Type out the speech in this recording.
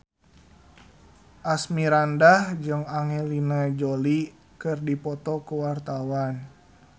Asmirandah jeung Angelina Jolie keur dipoto ku wartawan